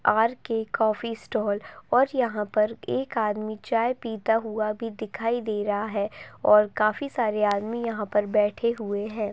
R K coffee stall और यहाँ पर एक आदमी चाय पीता हुआ भी दिखाई दे रहा है और काफी सारे आदमी यहाँ पर बैठे हुए हैं।